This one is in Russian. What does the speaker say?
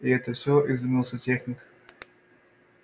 и это все изумился техник